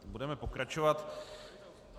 Budeme pokračovat.